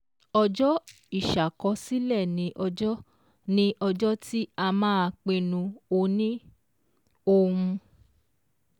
Ọjọ́ ìṣàkọsílẹ̀ ni ọjọ́ ni ọjọ́ tí a máa pinnu òni-ohun